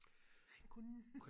kunnen